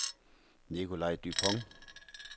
Nicolaj Dupont